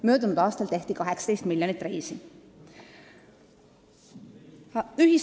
Möödunud aastal tehti 18 miljonit reisi.